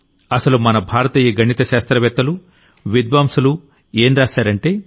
అసలు మన భారతీయ గణి శాస్త్రవేత్తలు విద్వాంసులు ఏం రాశారంటే